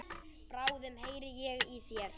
Bráðum heyri ég í þér.